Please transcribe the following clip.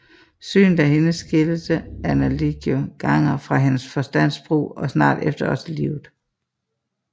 Synet af hende skilte Anna Leganger fra hendes forstands brug og snart efter også livet